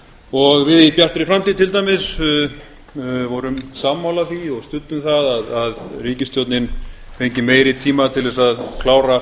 og við í bjartri framtíð til dæmis vorum sammála því og studdum það að ríkisstjórnin fengi meiri tíma til þess að klára